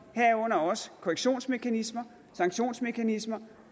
herunder også korrektionsmekanismer sanktionsmekanismer